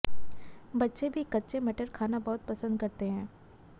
बच्चे भी कच्चे मटर खाना बहुत पसंद करते हैं